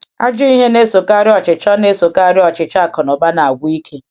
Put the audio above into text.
Ajọ ihe na-esokarị ọchịchọ na-esokarị ọchịchọ akụnụba na-agwụ ike.